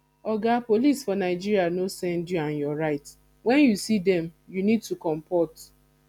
oga police for nigeria no send you and your right when you see dem you need to comport